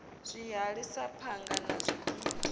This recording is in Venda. zwihali sa phanga na zwigidi